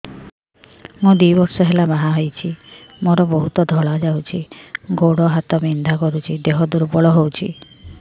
ମୁ ଦୁଇ ବର୍ଷ ହେଲା ବାହା ହେଇଛି ମୋର ବହୁତ ଧଳା ଯାଉଛି ଗୋଡ଼ ହାତ ବିନ୍ଧା କରୁଛି ଦେହ ଦୁର୍ବଳ ହଉଛି